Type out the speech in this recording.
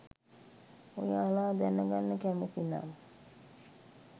ඔයාල දැනගන්න කැමති නම්